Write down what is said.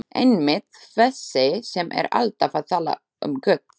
Einmitt- þessi sem er alltaf að tala um Guð.